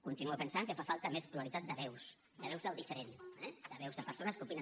continuo pensant que fa falta més pluralitat de veus de veus del diferent eh de veus de persones que opinen